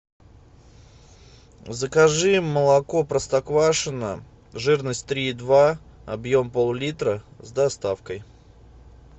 закажи молоко простоквашино жирность три и два объем пол литра с доставкой